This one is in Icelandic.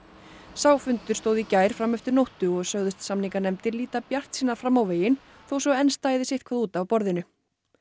sá fundur stóð í gær fram eftir nóttu og sögðust samninganefndir líta bjartsýnar fram á veginn þó svo að enn stæði sitthvað út af borðinu